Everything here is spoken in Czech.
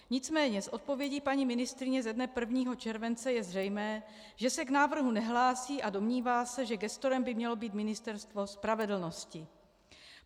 Nicméně z odpovědi paní ministryně ze dne 1. července je zřejmé, že se k návrhu nehlásí a domnívá se, že gestorem by mělo být Ministerstvo spravedlnosti.